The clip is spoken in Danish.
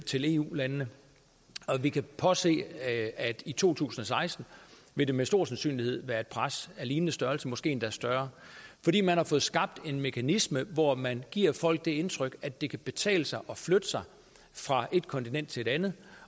til eu landene og vi kan forudse at i to tusind og seksten vil det med stor sandsynlighed være et pres af lignende størrelse måske endda større fordi man har fået skabt en mekanisme hvor man giver folk det indtryk at det kan betale sig at flytte sig fra et kontinent til et andet